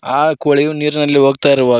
ಆ ಕೋಳಿ ನೀರಿನಲ್ಲಿ ಹೋಗ್ತಾ ಇರುವಗ--